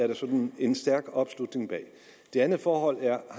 der sådan er en stærk opslutning bag det andet forhold er